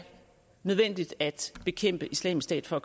nødvendigt at bekæmpe islamisk stat for